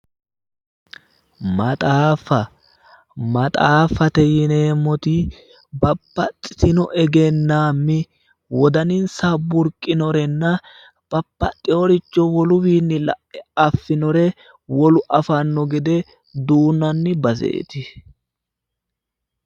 Maxaaffa ,maxaaffatte yineemoti babbaxittinno egenaami wodanisayi burqanorenna babbaxiyooricho wolu wiini la'e afinore wolu afanno gede duunanni baseeti.